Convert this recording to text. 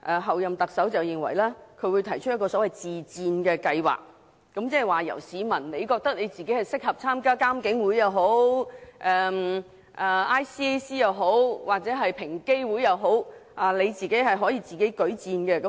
候任特首認為她會提出一個所謂自薦計劃，即是說如果市民認為自己適合參與獨立監察警方處理投訴委員會、香港廉政公署或平等機會委員會等，他們可以自薦。